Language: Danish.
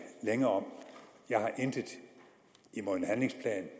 længe om jeg har intet imod en handlingsplan